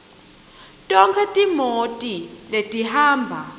tonkhe timoti letihamba